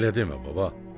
Elə demə, baba.